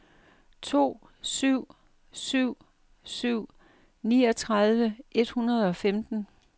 to syv syv syv niogtredive et hundrede og femten